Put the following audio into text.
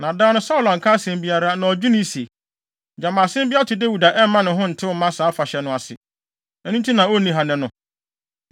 Na da no, Saulo anka asɛm biara. Na ɔdwenee se, “Gyama asɛm bi ato Dawid a ɛmma ne ho ntew mma saa afahyɛ no ase. Ɛno nti na onni ha nnɛ no.”